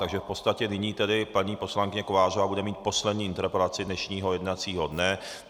Takže v podstatě nyní tedy paní poslankyně Kovářová bude mít poslední interpelaci dnešního jednacího dne.